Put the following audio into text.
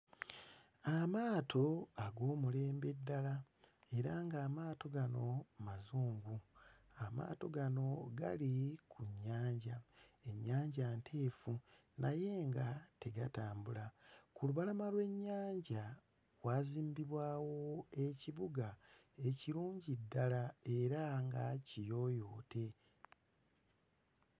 Amaato ag'omulembe ddala era ng'amaato gano mazungu. Amaato gano gali ku nnyanja. Ennyanja nteefu, naye nga tegatambula. Ku lubalama lw'ennyanja waazimbibwawo ekibuga ekirungi ddala era nga kiyooyoote.